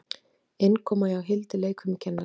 Innkoma hjá Hildi leikfimikennara.